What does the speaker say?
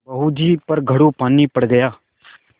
बहू जी पर घड़ों पानी पड़ गया